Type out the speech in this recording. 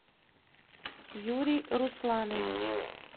юрий русланович